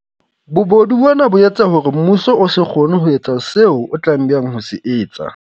Bobodu bona bo etsa hore mmuso o se kgone ho etsa seo o tlameha ho se etsa.